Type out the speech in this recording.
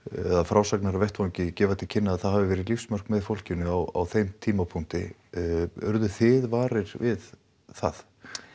eða frásagnir af vettvangi gefa það til kynna að það hafi verið lífsmark með fólkinu á þeim tímapunkti urðuð þið varir við það